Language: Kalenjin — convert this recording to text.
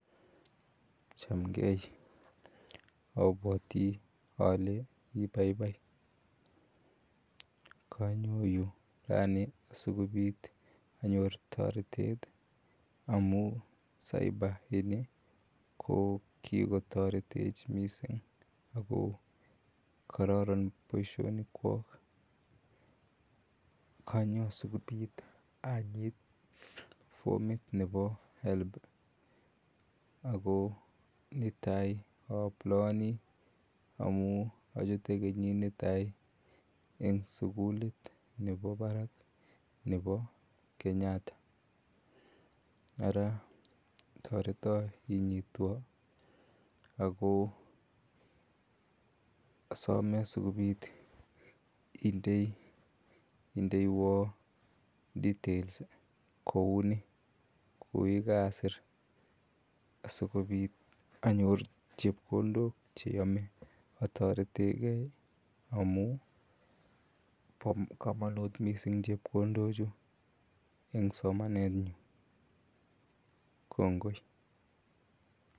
Chamgee abuati ale ibaibai. Kanyoo yu Rani asikobit anyor taretet amuun cyber ini ko kikotaretech missing. Ako kararan boisionik kuak. Kanyoo asikobit anyit fomit nebo higher education loans board ih Ako netai aplaeni Ako achute kenyit netai en sugulit nebo barak nebo Kenyatta Ara tareto inyituan ako asame sikobit indeywaan details ih kouu ni kouu yekasir asikobit anyor chebkondok cheame. Atoretenge amuun bo kamanut missing chebkondok chu en somanet nyun kongoi.